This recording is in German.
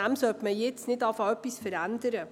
Man sollte nicht beginnen, etwas daran zu verändern.